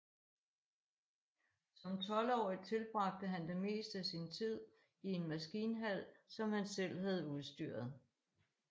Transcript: Som tolvårig tilbragte han det meste af sin tid i en maskinhal som han selv havde udstyret